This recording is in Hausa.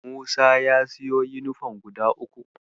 Musa ya siyo yunifom guda uku.